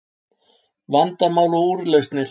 Vandamál og Úrlausnir